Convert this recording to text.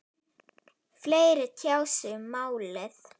Fleiri tjá sig um málið